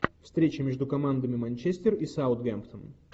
встреча между командами манчестер и саутгемптон